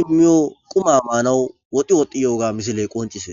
imoyo quma manawu woxi woxi yiyoga misile qonc'ises